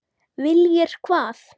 Viljir hvað?